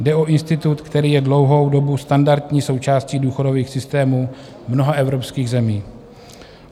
Jde o institut, který je dlouhou dobu standardní součástí důchodových systémů mnoha evropských zemí.